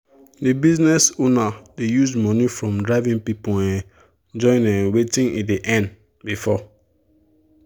the business owner dey use money from driving people um join um wetin e dey earn before.